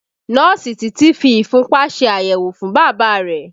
Nọ́ọ̀sì Titi fi ìfúnpá ṣe àyẹ̀wò fún Bàbá rẹ̀